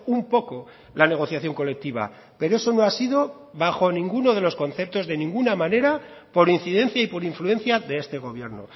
un poco la negociación colectiva pero eso no ha sido bajo ninguna de los conceptos de ninguna manera por incidencia y por influencia de este gobierno